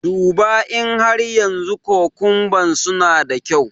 Duba in har yanzu kukumban suna da kyau.